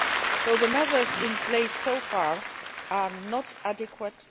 So the measures in place so far are not adequate.